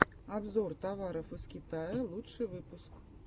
обзор товаров из китая лучший выпуск